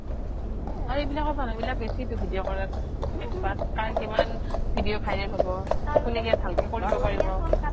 আৰু এইবিলাক মানুহে বেছি video কৰাত কাৰ কিমান video viral হব কুনে কিমান ভালকে কৰিব পাৰিব